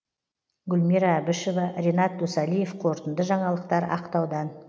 гүлмира әбішева ренат досалиев қорытынды жаңалықтар ақтаудан